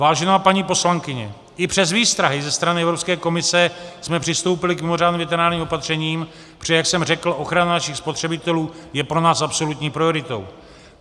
Vážená paní poslankyně, i přes výstrahy ze strany Evropské komise jsme přistoupili k mimořádným veterinárním opatřením, protože jak jsem řekl, ochrana našich spotřebitelů je pro nás absolutní prioritou.